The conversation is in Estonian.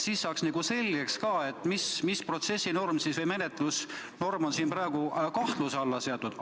Siis saaks ka selgeks, mis protsessinorm või menetlusnorm on siin praegu kahtluse alla seatud.